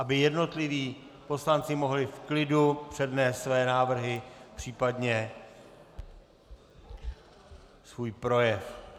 Aby jednotliví poslanci mohli v klidu přednést své návrhy případně svůj projev.